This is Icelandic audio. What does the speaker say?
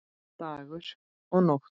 Dagur og Nótt.